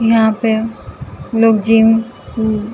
यहाँ पे लोग जिम --